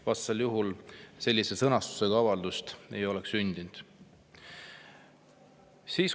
Vastasel juhul sellise sõnastusega avaldust ei oleks sündinud.